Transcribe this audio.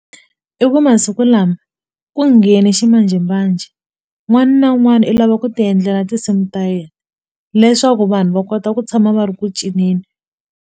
I ku masiku lama ku nghene ximanjhemanjhe n'wani na n'wani i lava ku ti endlela tinsimu ta yena leswaku vanhu va kota ku tshama va ri ku cinceni.